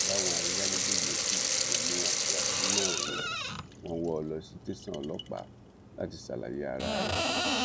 báwọn ayálégbé yòókù ṣe mú afurasí náà ni wọn wọ ọ lọ sí tẹsán ọlọpàá láti ṣàlàyé ara rẹ